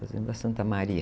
Fazenda Santa Maria.